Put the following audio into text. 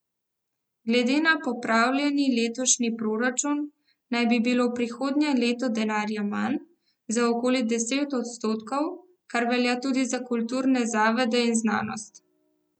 Glede na popravljeni letošnji proračun naj bi bilo prihodnje leto denarja manj za okoli deset odstotkov, kar velja tudi za kulturne zavode in znanost.